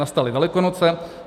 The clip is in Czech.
Nastaly Velikonoce.